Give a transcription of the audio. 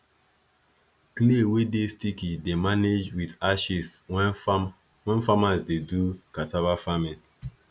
clay wey dey sticky dey managed with ashes when farmers dey do cassava farming